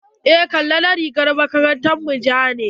Eh, kala na rigar makarantar mu ja ne.